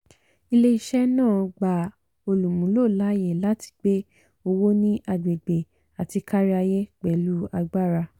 ilé-iṣẹ́ náà gba olúmúló láàyè láti gbe owó ní agbègbè àti káríayé pẹ̀lú agbára.